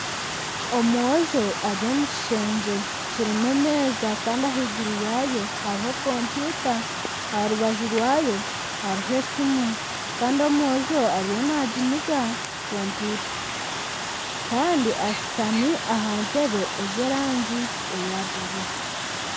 Omwojo ari omu kishengye kirimu emeeza kandi ahaiguru yaayo hariho kompyuta aha rubaju rwayo hariho esimu kandi omwojo ariyo naamiga kompyuta kandi ashutami aha ntebe ez'erangi ya bururu